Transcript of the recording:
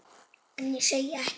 En ég segi ekkert.